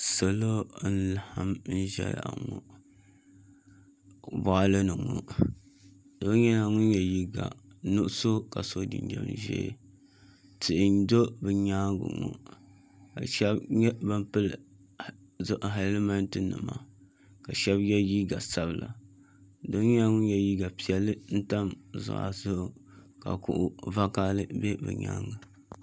Salo n laɣam ʒɛya ŋo ko boɣali ni ŋo do yino ŋun yɛ liiga nuɣso ka so jinjɛm ʒiɛ tihi n ʒɛ bi nyaanga maa ka shab nyɛ ban pili hɛlmɛnti nima ka shab yɛ liiga sabila doo nyɛla ŋun yɛ liiga piɛlli n tam zuɣa zuɣu ka kuɣu vakaɣali bɛ o nyaanga